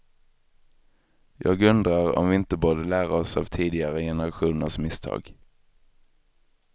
Jag undrar om vi inte borde lära oss av tidigare generationers misstag.